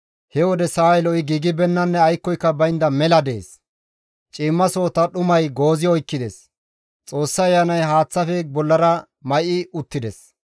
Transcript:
He wode sa7ay lo7i giigibeennanne aykkoyka baynda mela dees; ciimmasohota dhumay goozi oykkides; Xoossa Ayanay haaththafe bollara may7i uttides.